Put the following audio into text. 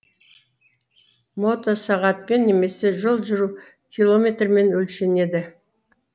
мотосағатпен немесе жол жүру километрімен өлшенеді